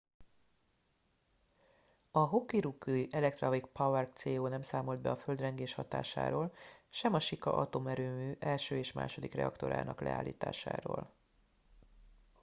a hokuriku electric power co nem számolt be a földrengés hatásáról sem a shika atomerőmű 1. és 2. reaktorának leállításáról